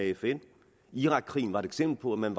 fn irakkrigen var et eksempel på at man